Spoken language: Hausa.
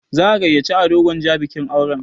Za'a gayyaci Ado Gwanja bikin auren.